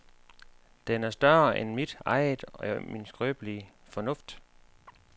Den er større end mit eget jeg og min skrøbelige fornuft.